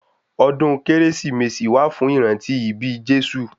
Ọdún kérésìmesì wà fún ìrántí ibí Jésù